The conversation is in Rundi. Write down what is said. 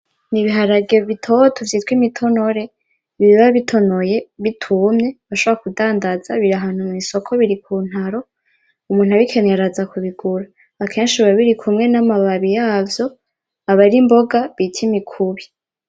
Nibiharage bitoto vyitwa imitonore biba bitonoye bitumye bashobora kudamdaza biri ahantu mwisoko k'untaro umuntu abikeneye araza kubigura akeshi biba birikumwe n'amababi